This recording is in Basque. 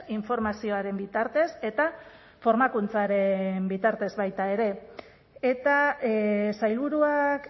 informazioaren bitartez eta formakuntzaren bitartez baita ere eta sailburuak